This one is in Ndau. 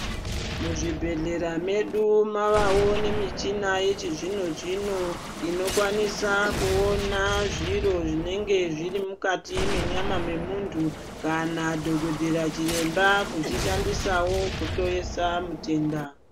Muzvibhedhlera medu mavawo nemichina yechizvino zvino inokwanisa kuona zviro zvinenge zviri mukati mwenyama memuntu kana dhokodheya chiremba kuzvishandisa kuhloyesa mutenda.